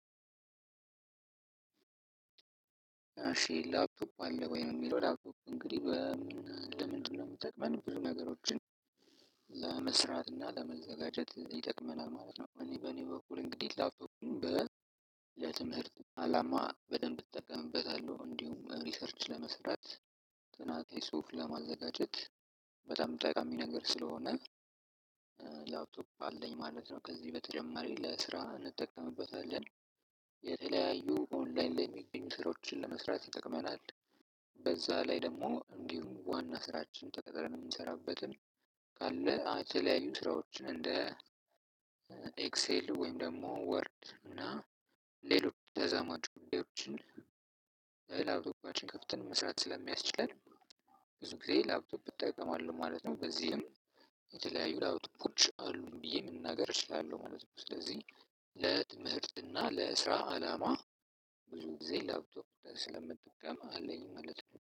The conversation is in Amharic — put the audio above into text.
አሺ ላፕቶክ አለህ ወይ ነው? የሚለው ላፕቶፕ እንግዲህ ለምንድነው የሚጠቅመን ብዙ ነገሮችን ለመስራት እና ለመዘጋጀት ይጠቅመናል ማለት ነው። እኔ በእኔ በኩል እንግዲህ ላፕቶፕ። ለትምህርት አላማ በደንብ እጠቀምበታለሁ እንዲሁም ሪሰርች ለመስራት ጥናቴ ጽሁፍ ለማዘጋጀት በጣም ጠቃሚ ነገር ስለሆነ ላብቶፕ አለኝ ማለት ነው። ከዚህ በተጨማሪ ለስራ እንጠቀምበታለን። የተለያዩ ኦንላይን ላይ የሚገኙ ስራዎችን ለመስራት ይጠቅመናል። በዛ ላይ ደግሞ እንዲሁም ዋና ስራችን ተቀጥረን እምንሰራበትን ካለ የተለያዩ ስራዎችን እንደ ኤክሴል ወይም ደግሞ ወርድ እና ሌሎች ተዘማጁ ጉዳዮችን በላብቶፓችን ከፍተን መስራት ስለሚያስችል ብዙ ጊዜ ላብቶፕ እጠቀማለሁ ማለት ነው። በዚህም የተለያዩ ላብቶፖች አሉኝ ብዬ መናገር እችላለሁ ማለት ነው። ስለዚህ ለትምህርት ና ለስራ አላማ ብዙ ጊዜ ላፕቶፕ ስለምጠቀም አለኝ ማለት ነው